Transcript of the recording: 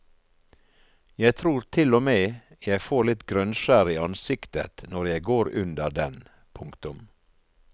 Jeg tror til og med jeg får litt grønnskjær i ansiktet når jeg går under den. punktum